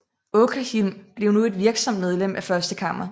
Åkerhielm blev nu et virksomt medlem af Første Kammer